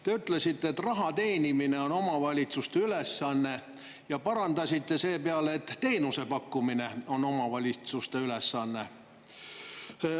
Te ütlesite, et raha teenimine on omavalitsuste ülesanne, ja parandasite seepeale, et teenusepakkumine on omavalitsuste ülesanne.